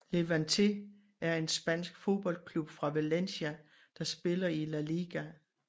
Levante er en spansk fodboldklub fra Valencia der spiller i La Liga